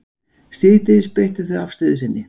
Síðdegis breyttu þau afstöðu sinni